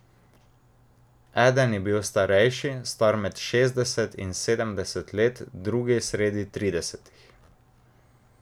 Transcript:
Eden je bil starejši, star med šestdeset in sedemdeset let, drugi sredi tridesetih.